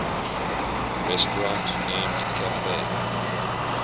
restaurant named cafe